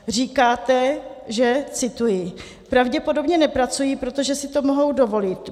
Říkáte, že - cituji: "Pravděpodobně nepracují, protože si to mohou dovolit.